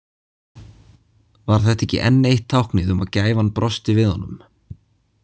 Var þetta ekki enn eitt táknið um að gæfan brosti við honum?